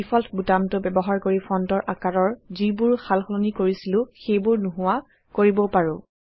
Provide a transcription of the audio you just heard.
আমি ডিফল্ট বুটামটো ব্যৱহাৰ কৰি ফন্টৰ আকাৰৰ যিবোৰ সালসলনি কৰিছিলো সেইবোৰ নোহোৱা কৰিবও পাৰো